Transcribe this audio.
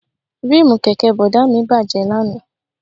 Ríìmù kẹ̀kẹ́ Bọ̀dá mi bàjẹ́ lánàá